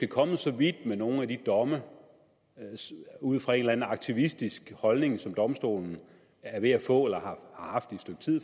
kommet så vidt med nogle af dommene ud fra en eller anden aktivistisk holdning som domstolen er ved at få eller